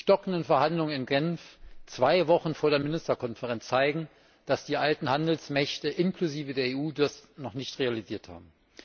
Die stockenden Verhandlungen in Genf zwei Wochen vor der Ministerkonferenz zeigen, dass die alten Handelsmächte inklusive der EU das noch nicht realisiert haben.